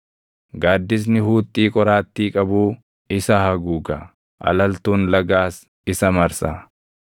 Gaaddisni huuxxii qoraattii qabuu isa haguuga; alaltuun lagaas isa marsa.